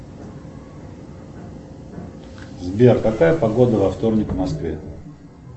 сбер какая погода во вторник в москве